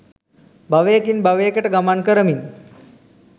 භවයකින් භවයකට ගමන් කරමින්